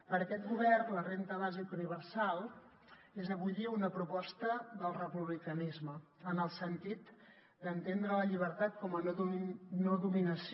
per aquest govern la renda bàsica universal és avui dia una proposta del republicanisme en el sentit d’entendre la llibertat com a no dominació